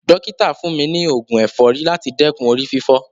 Dọ́kítà fún mi ni oògun ẹ̀fọ́rí láti dẹ́kun orí fífọ́.